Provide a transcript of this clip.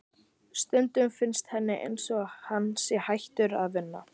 Stundum finnst henni einsog hann sé hættur að vinna.